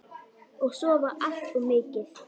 Og sofa allt of mikið.